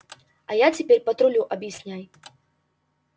а я теперь патрулю объясняй